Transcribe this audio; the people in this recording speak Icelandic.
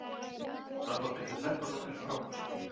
Samband mitt við Ferguson er frábært